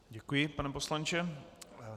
Děkuji, pane poslanče.